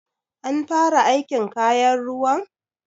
An fara aikin kayan ruwan?